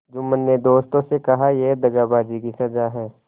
जुम्मन ने दोस्तों से कहायह दगाबाजी की सजा है